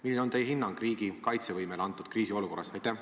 Milline on teie hinnang riigi kaitsevõimele antud kriisiolukorras?